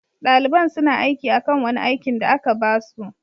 Dalibain suna aiki akan wani aikin da aka ba su.